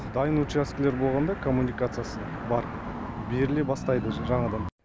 дайын учаскелер болғанда коммуникациясы бар беріле бастайды жаңадан